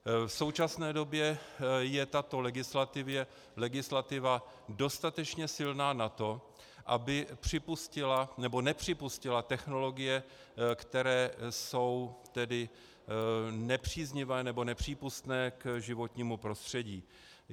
V současné době je tato legislativa dostatečně silná na to, aby nepřipustila technologie, které jsou nepříznivé nebo nepřípustné k životnímu prostředí.